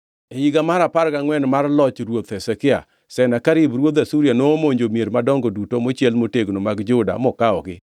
E higa mar apar gangʼwen mar loch Ruoth Hezekia, Senakerib ruodh Asuria nomonjo mier madongo duto mochiel motegno mag Juda mokawogi.